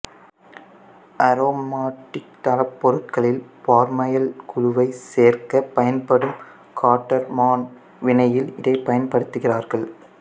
aromatic தளப்பொருட்களில் formyl குழுவை சேர்க்கப் பயன்படும் காட்டர்மான் வினையில் இதைப் பயன்படுத்துகிறார்கள்